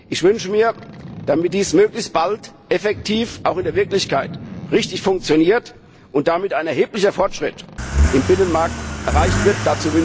Ich wünsche mir, dass dies möglichst bald auch in der Wirklichkeit richtig funktioniert und damit ein erheblicher Fortschritt im Binnenmarkt erreicht wird.